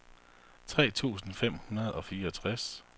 tre tusind fem hundrede og fireogtres